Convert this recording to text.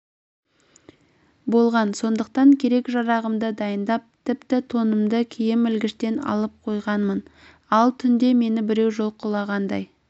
болған сондықтан керек-жарағымды дайындап тіпті тонымды киім ілгіштен алып қойғанмын ал түнде мені біреу жұлқығандай